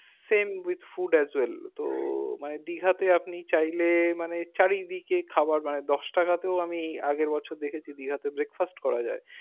same with food as well তো মানে দীঘা তে আপনি চাইলে মানে চারিদিকে খাবার বানাই দুটাকা তেও আমি আগের বছর দেখেছি দীঘাতে breakfast করা যাই